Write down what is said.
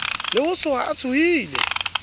le ho tsoha o tsohile